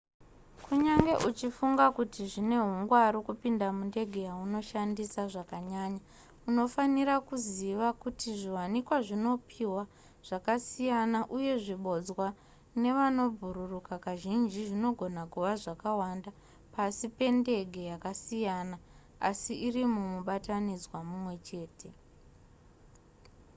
kunyangwe uchifunga kuti zvine hungwaru kupinda mundege yaunoshandisa zvakanyanya unofanirwa kuziva kuti zviwanikwa zvinopihwa zvakasiyana uye zvibodzwa zvevanobhururuka kazhinji zvinogona kuva zvakawanda pasi pendege yakasiyana asi iri mumubatanidzwa mumwe chete